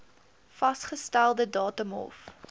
vasgestelde datum hof